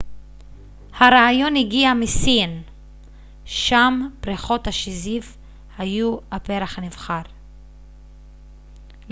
הרעיון הגיע מסין שם פריחות השזיף היו הפרח הנבחר